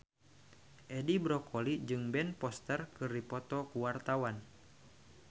Edi Brokoli jeung Ben Foster keur dipoto ku wartawan